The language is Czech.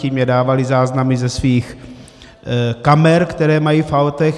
Ti mně dávali záznamy ze svých kamer, které mají v autech.